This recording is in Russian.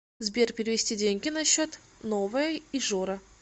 сбер перевести деньги на счет новая ижора